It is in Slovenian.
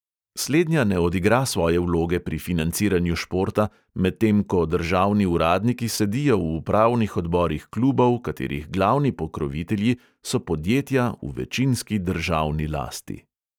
Slednja ne odigra svoje vloge pri financiranju športa, medtem ko državni uradniki sedijo v upravnih odborih klubov, katerih glavni pokrovitelji so podjetja v večinski državni lasti.